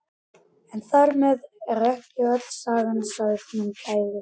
En þar með er ekki öll sagan sögð, minn kæri.